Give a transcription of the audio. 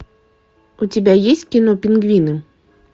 у тебя есть кино пингвины